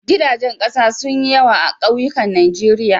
Gidajen ƙasa sun yi yawa a kauyukan Najeriya.